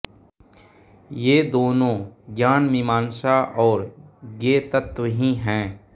ये दोनों ज्ञानमीमांसा और ज्ञेय तत्व ही हैं